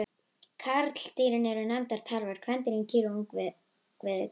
Karldýrin eru nefnd tarfar, kvendýrin kýr og ungviðið kálfar.